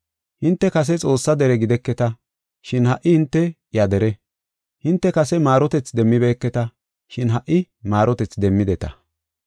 Hinte kase Xoossaa dere gideketa, shin ha77i hinte iya dere. Hinte kase maarotethi demmibeketa, shin ha77i maarotethi demmideta.